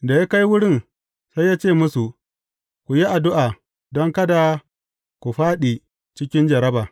Da ya kai wurin, sai ya ce musu, Ku yi addu’a don kada ku fāɗi cikin jarraba.